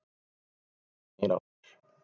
Bankastjóri snýr aftur